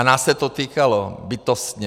A nás se to týkalo bytostně.